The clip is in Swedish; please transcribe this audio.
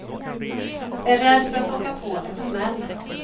Är rädd för att åka på en smäll.